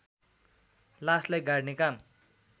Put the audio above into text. लासलाई गाड्ने काम